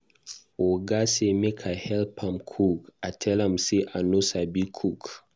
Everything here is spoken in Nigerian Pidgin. Oga say make I help am cook, I tell am say I no sabi cook.